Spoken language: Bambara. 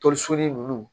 Toli so ni ninnu